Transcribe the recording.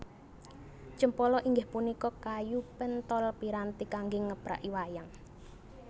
Cempala inggih punika kayu penthol piranti kanggé ngepraki wayang